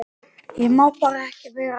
Ég má bara ekki vera að þessu.